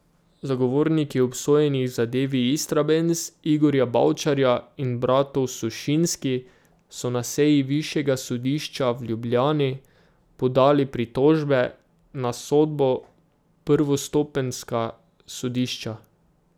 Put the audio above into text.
Zagovorniki obsojenih v zadevi Istrabenz, Igorja Bavčarja in bratov Sušinski, so na seji Višjega sodišča v Ljubljani podali pritožbe na sodbo prvostopenjska sodišča.